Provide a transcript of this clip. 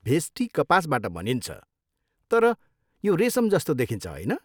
भेस्टी कपासबाट बनिन्छ, तर यो रेसम जस्तो देखिन्छ, होइन?